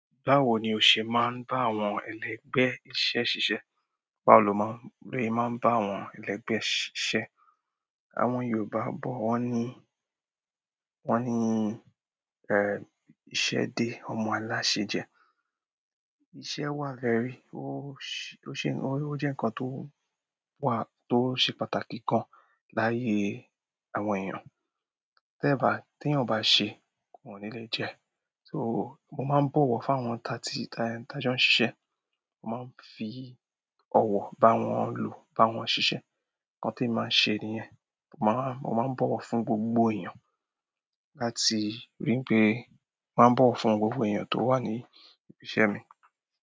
Báwo ni o ṣe máa ń bá àwọn ẹlẹgbẹ́ iṣẹ́ ṣiṣẹ́? Báwo lo maa n, bose máa ń bá àwọn ẹlẹgbẹ́ ṣiṣẹ́. Àwọn Yorùbá bọ̀ wọ́n ní, wọ́n ní ẹ, ìṣe dé ọmọ aláṣẹ jẹ. Ìṣe wà very, ó ṣe, ó jẹ́ ǹkan tó wà, tó ṣe pàtàkì gan láyé àwọn èèyàn. Te ba, ti eeyan ba se, won ní lè jẹ. So mo máa ń bọ̀wọ̀ fún àwọn ta tí, ta en, ta jo ń ṣiṣẹ́. Mo máa ń fi ọ̀wọ̀ bá wọn lò, bá wọn ṣiṣẹ́. Ǹkan temi màá ń ṣe nìyẹn. Mo máa ń, mo máa ń bọ̀wọ̀ fún gbogbo èèyàn láti rí i pé, mo máa ń bọ̀wọ̀ fún gbogbo èèyàn tó wà ní ibi iṣẹ́ mi.